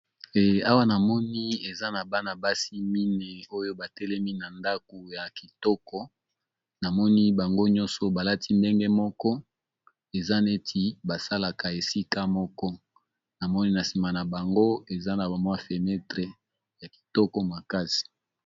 Awa na moni eza na bana basi mine oyo batelemi na ndaku ya kitoko na moni bango nyonso balati ndenge moko eza neti basalaka esika moko na moni na nsima na bango eza na bamwa fenetre ya kitoko makasi.